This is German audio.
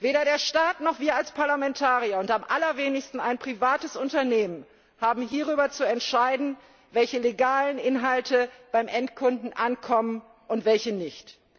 Weder der Staat noch wir als Parlamentarier und am allerwenigsten ein privates Unternehmen haben darüber zu entscheiden, welche legalen Inhalte beim Endkunden ankommen und welche nicht.